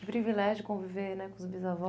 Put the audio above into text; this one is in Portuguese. Que privilégio conviver né com os bisavós.